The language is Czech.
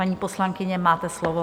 Paní poslankyně, máte slovo.